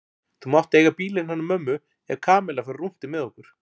Þú mátt eiga bílinn hennar mömmu ef Kamilla fer á rúntinn með okkur